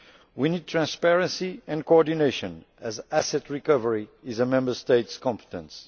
We need transparency and coordination, as asset recovery is a Member State competence.